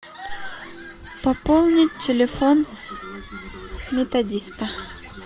пополнить телефон методиста